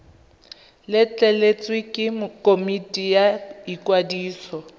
letleletswe ke komiti ya ikwadiso